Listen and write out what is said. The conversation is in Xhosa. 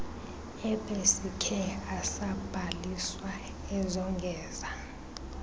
ebesikhe asabhaliswa ezongeza